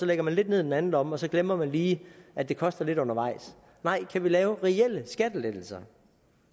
lægger lidt ned i den anden lomme og så glemmer man lige at det koster lidt undervejs nej kan vi lave reelle skattelettelser